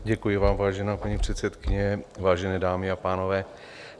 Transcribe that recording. Děkuji vám, vážená paní předsedkyně, vážené dámy a pánové.